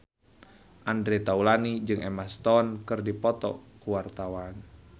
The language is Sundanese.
Andre Taulany jeung Emma Stone keur dipoto ku wartawan